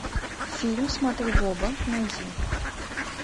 фильм смотри в оба найди